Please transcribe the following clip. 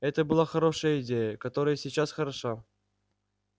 это была хорошая идея которая и сейчас хороша